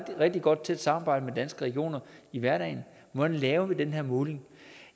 rigtig godt tæt samarbejde med danske regioner i hverdagen hvordan laver vi den her måling